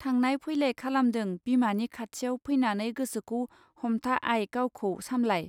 थांनाइ फैलाय खालामदों बिमानि खाथियाव फैनानै गोसोखौ हमथा आइ गावखौ सामब्लाय.